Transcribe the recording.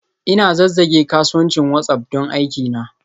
Ina zazzage kasuwancin WhatsApp don aikina.